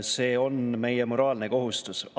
See on meie moraalne kohustus.